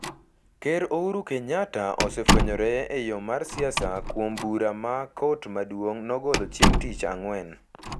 Ker Ouru Kenyatta osefwenyore e yo mar siasa kuom bura ma Kot Maduong’ nogolo chieng’ tich ang’wen,